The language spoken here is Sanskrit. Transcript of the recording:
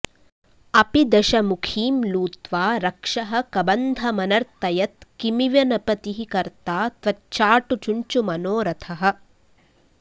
अपि दशमुखीं लूत्वा रक्षः कबन्धमनर्तयत् किमिव न पतिः कर्ता त्वच्चाटुचुञ्चुमनोरथः